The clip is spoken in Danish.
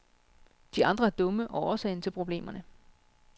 De andre er dumme og årsagen til problemerne.